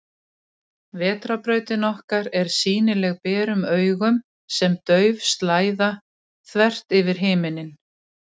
Vetrarbrautin okkar er sýnileg berum augum sem dauf slæða, þvert yfir himinninn.